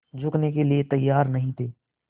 झुकने के लिए तैयार नहीं थे